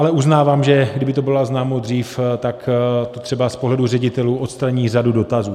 Ale uznávám, že kdyby to bylo oznámeno dřív, tak to třeba z pohledu ředitelů odstraní řadu dotazů.